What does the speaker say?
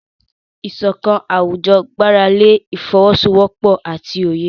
Ìṣọ̀kan àwùjọ gbára lé ìfọwọ́sowọ́pọ̀ àti òye.